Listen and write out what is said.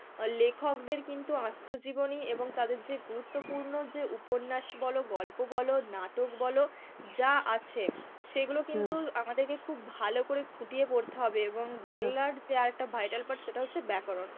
লেখকদের কিন্তু আত্ম-জীবনী এবং তাদের যে গুরুত্যপূর্ণ যে উপন্যাস বলো, গল্প বলো, নাটক বলো যা আছে সেইগুলো কিন্তু আমাদেরকে খুব ভালো করে খুঁটিয়ে পড়তে হবে এবং বাংলার যে আর একটা vital part সেটা হচ্ছে ব্যাকরণ.